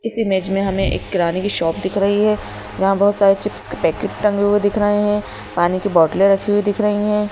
इस इमेज में हमें एक किराने की शॉप दिख रही है जहां बहुत सारे चिप्स के पैकेट टंगे हुए दिख रहे हैं पानी की बोटले रखी हुई दिख रही हैं।